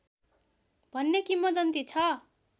भन्ने किम्बदन्ती छ